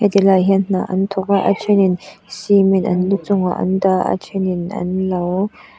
tilaiah hianin hna an thawk a a thenin cement an lu chungah an dah a a thenin an lo --